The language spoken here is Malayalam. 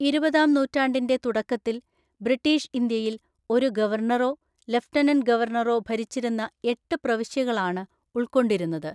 ഇരുപതാം നൂറ്റാണ്ടിന്റെ തുടക്കത്തിൽ, ബ്രിട്ടീഷ് ഇന്ത്യയിൽ ഒരു ഗവർണറോ ലഫ്റ്റനന്റ് ഗവർണറോ ഭരിച്ചിരുന്ന എട്ട് പ്രവിശ്യകളാണ് ഉൾക്കൊണ്ടിരുന്നത്.